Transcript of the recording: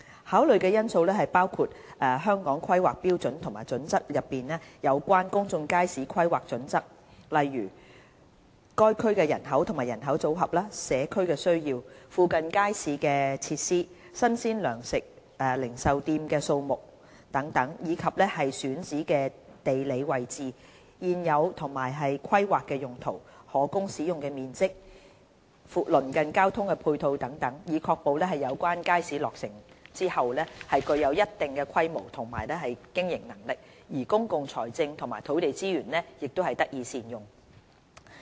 考慮的因素包括《香港規劃標準與準則》內有關公眾街市的規劃準則，例如：該區人口及人口組合、社區需要、附近街市設施、新鮮糧食零售店的數目等，以及選址的地理位置、現有及規劃用途、可供使用的面積、鄰近的交通配套等，以確保有關街市落成後具有一定的規模和經營能力，而公共財政和土地資源也能得以善用。